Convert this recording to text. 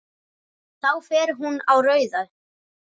Þá fer hún á rauðu.